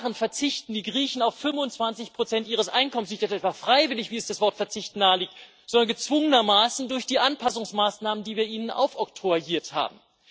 Seit Jahren verzichten die Griechen auf 25 ihres Einkommens nicht etwa freiwillig, wie es das Wort Verzicht nahelegt, sondern gezwungenermaßen durch die Anpassungsmaßnahmen, die wir ihnen aufoktroyiert haben.